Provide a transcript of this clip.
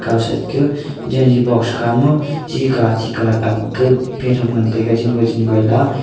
kao side ko janji box khama chi kalar chi kalar agap petham ngan tega jin goi jin goi la.